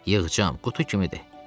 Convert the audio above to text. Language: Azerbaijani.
Yığcam, qutu kimidir.